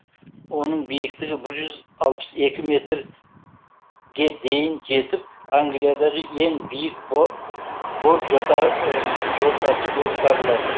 оның биіктігі бір жүз алпыс екі метр ге дейін жетіп англиядағы ең биік бор жортасы болып табылады